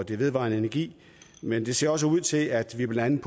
i vedvarende energi men det ser også ud til at vi blandt